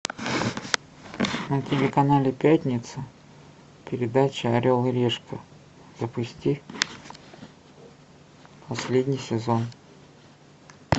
на телеканале пятница передача орел и решка запусти последний сезон